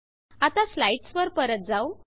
आता स्लाइड्स वर परत जाऊ